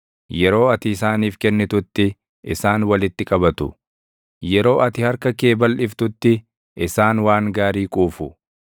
Yeroo ati isaaniif kennitutti, isaan walitti qabatu; yeroo ati harka kee balʼiftutti, isaan waan gaarii quufu.